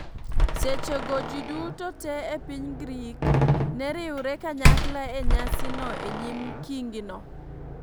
Seche go, ji duto te e piny Grik ne riwre kanyakla e nyasi no e nyim kingi no.